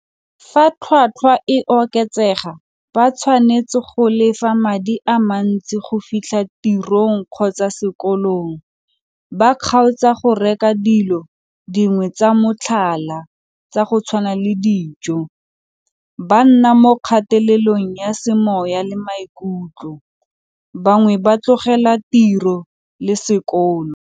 Fa tlhwatlhwa e oketsega ba tshwanetse go lefa madi a mantsi go fitlha tirong kgotsa sekolong, ba kgaotsa go reka dilo dingwe tsa motlhala tsa go tshwana le dijo, ba nna mo kgatelelong ya semoya le maikutlo, bangwe ba tlogela tiro le sekolo.